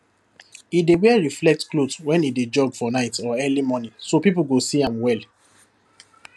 e dey wear reflect cloth when e dey jog for night or early morning so people go see am well